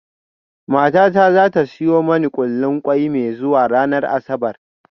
Matata za ta siyo mani kullin kwai mai zuwa ranar Asabar